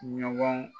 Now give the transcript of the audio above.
Ɲɔgɔn